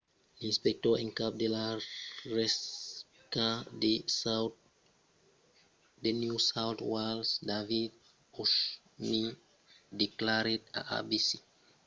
l'inspector en cap de la rspca de new south wales david o'shannessy declarèt a abc que la susvelhança e las inspeccions dins los tuadors deurián èsser correntas en austràlia